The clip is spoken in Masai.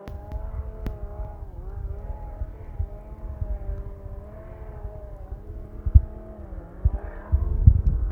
kumok elototo esipitali oolewa loolarin ntomoni ile oimiet neilep netorisiote apa ontasati